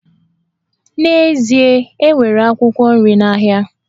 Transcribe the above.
N'ezie, e nwere akwụkwọ nri n'ahịa